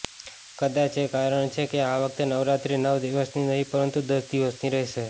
કદાચ એ કારણ છે કે આ વખતે નવરાત્રી નવ દિવસની નહિ પરંતુ દસ દિવસની રહેશે